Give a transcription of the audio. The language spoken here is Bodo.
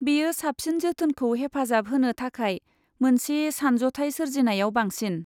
बेयो साबसिन जोथोनखौ हेफाजाब होनो थाखाय मोनसे सानज'थाय सोरजिनायाव बांसिन।